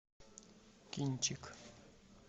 кинчик